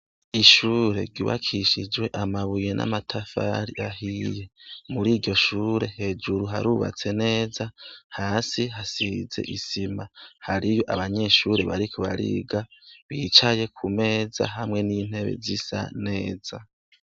Ishure ryubakishijwe amabuye n'amatafari ahiye muri iryo shure hejuru harubatse neza hasi hasize isima hariyo abanyeshure bariko bariga bicaye ku meza hamwe n'intebe z'isa neza.